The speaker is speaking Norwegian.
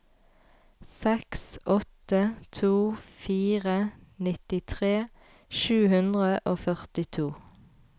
seks åtte to fire nittitre sju hundre og førtito